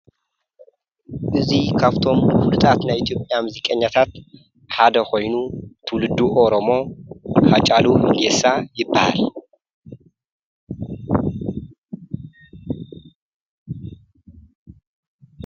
እዙይ ኻብቶም ፍግጣት ናይ ኢቲጴያ ምዚ ቀኛታት ሓደ ኾይኑ ትውልዱ ኦሮሞ ኃጫሉ ሁንዴሳ ይበሃል።